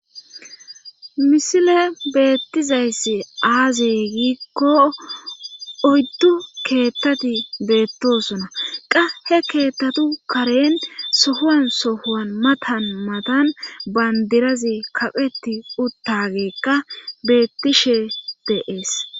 Misile beettizayssi aaze giikko oyddu keettati beettosona qa he keettatu karen sohuwan sohowan matan matan bandirazi kaqeti uttageekka beettishe deees.